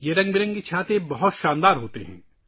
یہ رنگ برنگی چھتریاں بہت شاندار ہیں